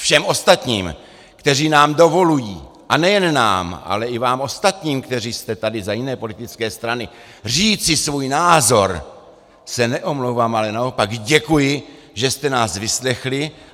Všem ostatním, kteří nám dovolují, a nejen nám, ale i vám ostatním, kteří jste tady za jiné politické strany, říci svůj názor, se neomlouvám, ale naopak děkuji, že jste nás vyslechli.